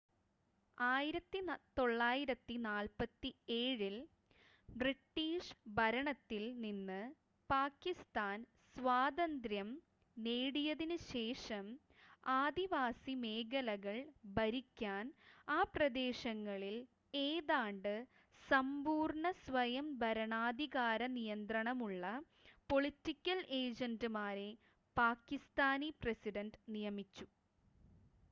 "1947-ൽ British ഭരണത്തിൽ നിന്ന് പാകിസ്ഥാൻ സ്വാതന്ത്യ്രം നേടിയതിന് ശേഷം ആദിവാസി മേഖലകൾ ഭരിക്കാൻ ആ പ്രദേശങ്ങളിൽ ഏതാണ്ട് സമ്പൂർണ്ണ സ്വയം ഭരണാധികാര നിയന്ത്രണമുളള "പൊളിറ്റിക്കൽ ഏജന്റ്മാരെ" പാകിസ്ഥാനി പ്രസിഡന്റ് നിയമിച്ചു.